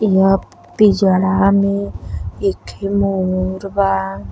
व पिजड़ा मे एक ठे मोर बा।